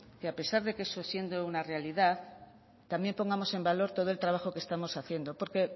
que a pesar de que siendo una realidad también pongamos en valor todo el trabajo que estamos haciendo porque